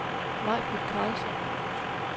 Maibritt Karlsson